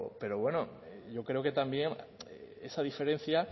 pero bueno yo creo que también esa diferencia